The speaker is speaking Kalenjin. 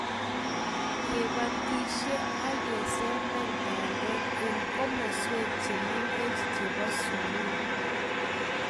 kebatishe agesemberi bandek eng komoswek chemengech chebo sugul